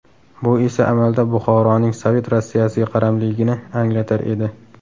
Bu esa amalda Buxoroning Sovet Rossiyasiga qaramligini anglatar edi.